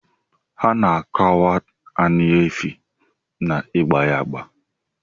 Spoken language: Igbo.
Ana akwad ani efi na igba ya agba.